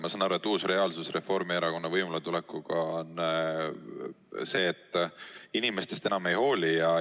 Ma saan aru, et uus reaalsus Reformierakonna võimuletulekuga on see, et inimestest enam ei hoolita.